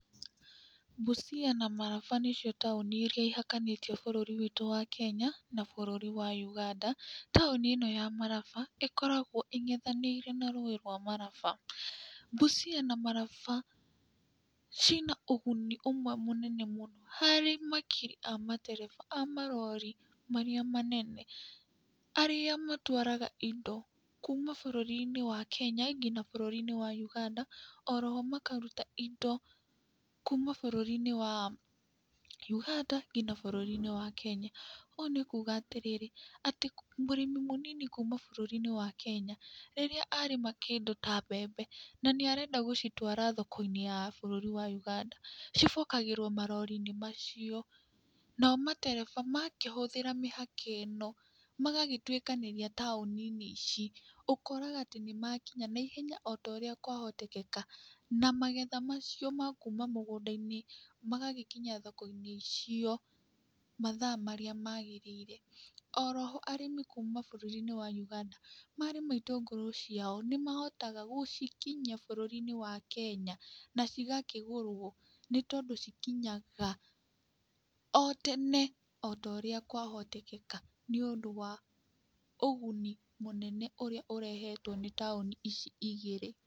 Busia na Maraba nĩ cio taoni iria ihakanĩtie bũrũri wĩtũ wa Kenya na bũrũri wa Uganda, taoni ĩno ya Maraba ĩkoragwo ĩngethanĩire na rũĩ rwa maraba, Busia na Maraba cina ũguni ũmwe mũnene mũno, harĩ makiri a matereba amarori, marĩa manene, arĩa matwaraga indo kuuma bũrũri-inĩ wa Kenya, ngina bũrũri-inĩ wa ũganda, oroho makaruta indo, kuuma bũrũri-inĩ wa Uganda, ngina bũrũri wa Kenya, ũũ nĩ kuga atĩrĩrĩ, atĩ mũrĩmi mũnini kuuma bũrũri-inĩ wa Kenya, rĩrĩa arĩma kĩndũ ta mbembe, na nĩ arenda gũcitwara thoko-inĩ ya bũrũri wa Uganda, cibokagĩrwo marori-inĩ macio, nao matereba makĩhũthĩra mĩhaka ĩno, magagĩtwĩkanĩria taoni-inĩ ici, ũkoraga atĩ nĩ makinya na ihenya otaũrĩa kwa hotekeka, na magetha macio ma kuuma mũgũnda-inĩ, magagĩkinya thoko-inĩ icio, mathaa marĩa magĩrĩire, oroho, arĩmi kuuma bũrũri-inĩ wa Uganda, marĩma itũngũrũ ciao, nĩ mahotaga gũcikinyia bũrũri-inĩ wa kenya na cigakĩgũrwo, nĩ tondũ cikinyaga otene otorĩa kwahotekeka, nĩ ũndũ wa ũguni mũnene ũrĩa ũrehetwo, nĩ taũni ici igĩrĩ.